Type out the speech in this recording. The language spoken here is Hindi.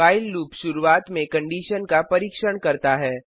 व्हाइल लूप शुरूवात में कंडिशन का परीक्षण करता है